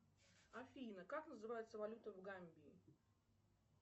афина как называется валюта в гамбии